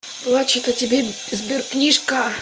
плачет о тебе сберкнижка